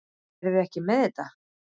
Eruð þið ekki með þetta?